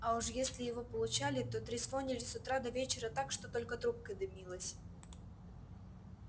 а уж если его получали то трезвонили с утра до вечера так что только трубка дымилась